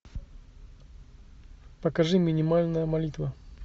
покажи минимальная молитва